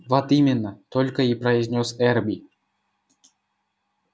вот именно только и произнёс эрби